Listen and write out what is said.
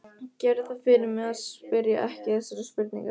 Gerðu það fyrir mig að spyrja ekki þessarar spurningar